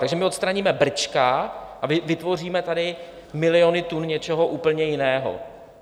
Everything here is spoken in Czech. Takže my odstraníme brčka a vytvoříme tady miliony tun něčeho úplně jiného?